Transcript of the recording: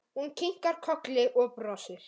Hún kinkar kolli og brosir.